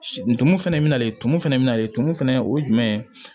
Ntumu fɛnɛ bɛ nalen tumu fɛnɛ bɛ na ye tumu fana o ye jumɛn ye